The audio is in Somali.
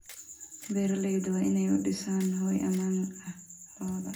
Beeraleydu waa inay u dhisaan hoy ammaan ah lo'da.